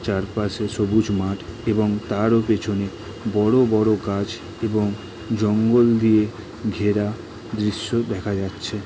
চারপাশে সবুজ মাঠ এবং তারও পিছনে বড় বড় গাছ এবং জঙ্গল দিয়ে ঘেরা দৃশ্য দেখা যাচ্ছে।